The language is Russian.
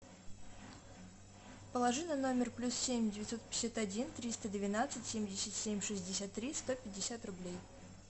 положи на номер плюс семь девятьсот пятьдесят один триста двенадцать семьдесят семь шестьдесят три сто пятьдесят рублей